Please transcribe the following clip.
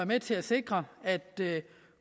med til at sikre at